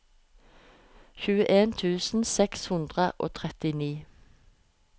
tjueen tusen seks hundre og trettini